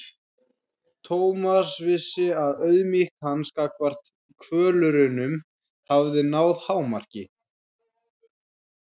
Thomas vissi að auðmýkt hans gagnvart kvölurunum hafði náð hámarki.